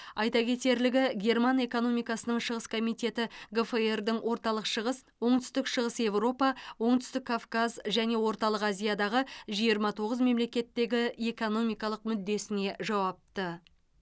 айта кетерлігі герман экономикасының шығыс комитеті гфр дың орталық шығыс оңтүстік шығыс еуропа оңтүстік кавказ және орталық азиядағы жиырма тоғыз мемлекеттегі экономикалық мүддесіне жауапты